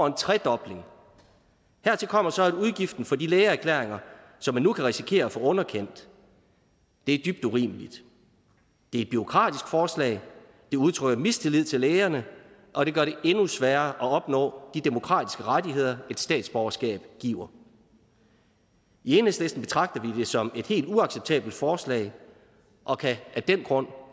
en tredobling hertil kommer så udgiften for de lægeerklæringer som man nu kan risikere at få underkendt det er dybt urimeligt det er et bureaukratisk forslag det udtrykker mistillid til lægerne og det gør det endnu sværere at opnå de demokratiske rettigheder et statsborgerskab giver i enhedslisten betragter vi det som et helt uacceptabelt forslag og kan af den grund